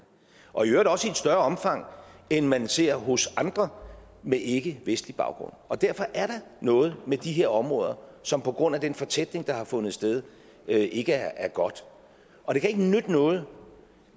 og i øvrigt også i et større omfang end man ser hos andre med ikkevestlig baggrund derfor er der noget med de her områder som på grund af den fortætning der har fundet sted ikke er godt og det kan ikke nytte noget